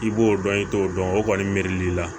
I b'o dɔn i t'o dɔn o kɔni miiri la